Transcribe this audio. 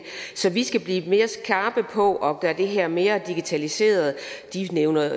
så vi skal blive mere skarpe på at gøre det her mere digitaliseret de nævner